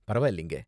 பரவாயில்லங்க.